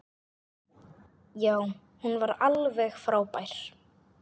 Já, hún var alveg frábær!